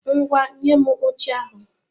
Ngwá, nye m oche ahụ!